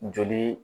Joli